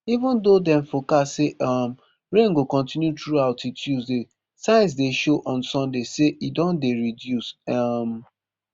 even though dem forecast say um rain go kontinu throughout till tuesday signs dey show on sunday say e don dey reduce um